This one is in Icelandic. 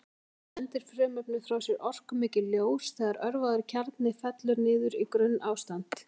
Þá sendir frumefnið frá sér orkumikið ljós þegar örvaður kjarni fellur niður í grunnástand.